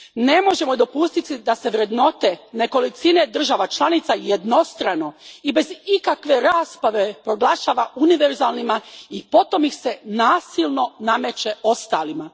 Ne možemo dopustiti da se vrednote nekolicine država članica jednostrano i bez ikakve rasprave proglašava univerzalnima i potom ih se nasilno nameće ostalima.